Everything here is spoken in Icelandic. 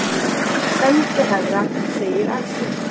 Sendiherra segir af sér